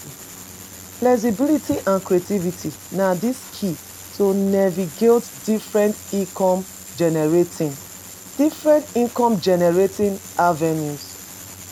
Flexibility and creativity na di key to navigate different income-generating different income generating avenues.